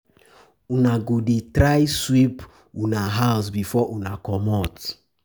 Una go dey try sweep una house before una comot.